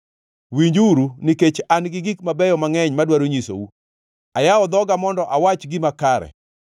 Winjuru, nikech an gi gik mabeyo mangʼeny madwaro nyisou; ayawo dhoga mondo awach gima kare.